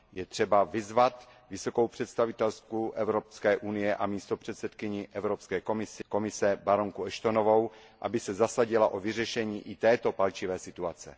Je třeba vyzvat vysokou představitelku Evropské unie a místopředsedkyni Evropské komise baronku Ashtonovou, aby se zasadila o vyřešení i této palčivé situace.